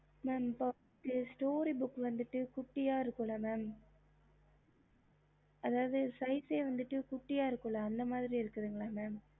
story book குட்டிய இருக்கும் இல்ல அந்த மாரி எத்தன இருக்க mam